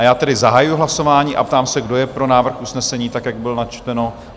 A já tedy zahajuji hlasování a ptám se, kdo je pro návrh usnesení, tak jak byl načteno?